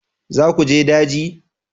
Za ku je daji?